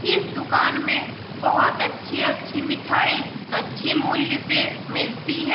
इस दुकान में बहुत अच्छी-अच्छी मिठाई अच्छी मूल्य पे मिलती है।